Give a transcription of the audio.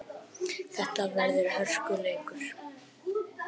Þetta verður hörkuleikur!